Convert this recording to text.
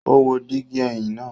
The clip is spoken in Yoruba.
O wo digi ẹhin naa